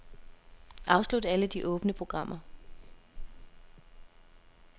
Afslut alle de åbne programmer.